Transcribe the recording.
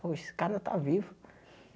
Poxa, esse cara ainda está vivo.